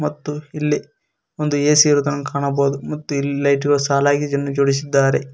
ಮತ್ತು ಇಲ್ಲಿ ಒಂದು ಎ_ಸಿ ಇರುವುದನ್ನು ಕಾಣಬಹುದು ಮತ್ತು ಇಲ್ಲಿ ಲೈಟ್ ಗಳು ಸಾಲಾಗಿ ಜನ್ ಜೋಡಿಸಿದ್ದಾರೆ.